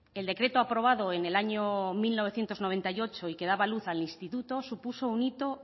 el decreto aprobado en el año mil novecientos noventa y ocho y que daba luz al instituto supuso un hito